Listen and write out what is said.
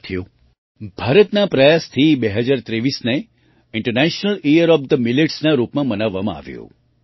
સાથીઓ ભારતના પ્રયાસથી 2023ને ઇન્ટરનેશનલ યીયર ઓએફ Milletsના રૂપમાં મનાવવામાં આવ્યું